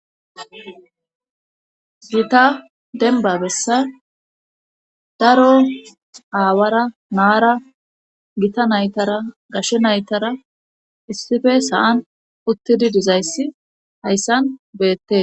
gita denba bessa daro aawara naara gita naytara gashe naytara issife sa:an uttidi dizayssi hayssan beette